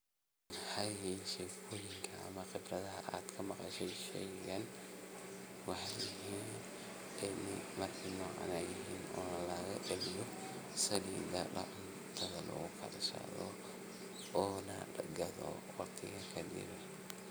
Maxey yihin sheko yinka ama fikradhaha ad kama qasho sheygan markey nocan yihin Oo laga celiyo ona lagadho waqtiga kadib